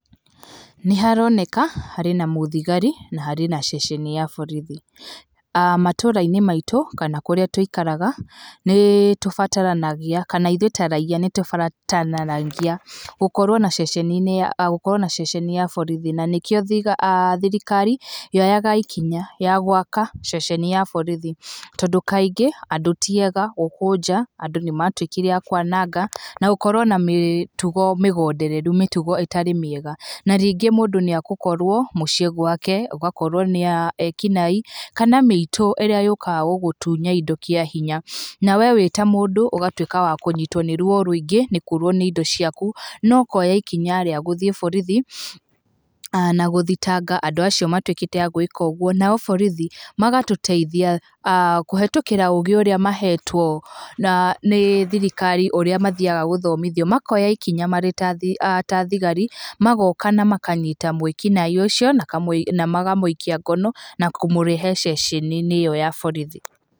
Nĩ haroneka, harĩ na mũthigari na harĩ na ceceni ya borithi, matũũra-inĩ maitũ kana kũrĩa tũikaraga, nĩ tubataranagia, kana ithuĩ ta raiya nĩ tũbataranagia gũkorwo na ceceni ya borithi na nĩkĩo thirikari, yoyaga ikinya ya gwaka ceceni ya borithi, tondũ kaingĩ andũ tiega gũkũ nja andũ nĩmatuĩkire a kwananga na gũkorwo na mĩtugo mĩgondereru mĩtugo ĩtarĩ mĩega na rĩngĩ mũndũ nĩ egũkorwo mũciĩ gwake ũgakorwo nĩ ekinaĩ kana mĩitũ ĩrĩa yũkaga gũgũtunya indo kĩahinya na we wĩta mũndũ ũgatuika wa kũnyitwo nĩ ruo rũingĩ nĩ kũrwo nĩ indo ciaku no koya ikinya rĩa gũthiĩ borithi na gũthitanga andũ acio matuĩkĩte a gwĩka ũguo. Nao borithi magatũteitha kũhĩtũkĩra ũgĩ ũrĩa mahetwo nĩ thirikari ũrĩa mathiaga gũthomithio, makoya ikinya marĩ ta thigari magoka na makanyita mwĩkinaĩĩ ucio, na makamũikia ngono na kũmũrehe ceceni-inĩ ĩyo ya borithi.